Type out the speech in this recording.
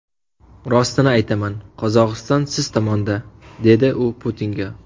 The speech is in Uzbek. Rostini aytaman, Qozog‘iston siz tomonda”, dedi u Putinga.